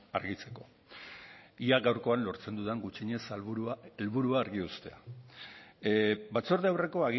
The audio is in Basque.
argitzeko ea gaurkoan lortzen dudan gutxienez helburua argi uztea batzorde aurreko